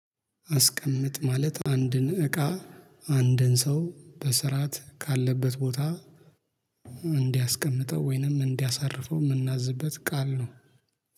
አስቀምጥ ማለት አንድን እቃ አንድን ሰው በስርዓት ካለበት ቦታ እንዲያስቀምጠው ወይንም እንዲያሳርፈው የምናዝበት ቃል ነው